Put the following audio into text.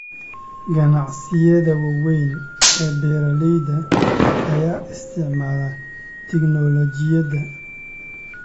Ganacsiyada waaweyn ee beeralayda ayaa isticmaala tignoolajiyada